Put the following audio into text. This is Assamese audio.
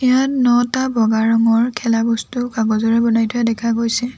ইয়াত নটা বগা ৰঙৰ খেলা বস্তু কাগজেৰে বনাই থোৱা দেখা গৈছে।